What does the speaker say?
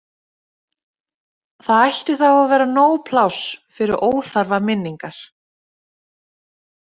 Það ætti þá að vera nóg pláss fyrir óþarfa minningar.